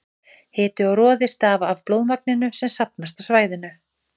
Hiti og roði stafa af blóðmagninu sem safnast á svæðið.